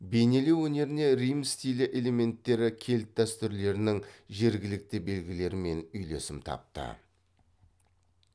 бейнелеу өнеріне рим стилі элементтері кельт дәстүрлерінің жергілікті белгілермен үйлесім тапты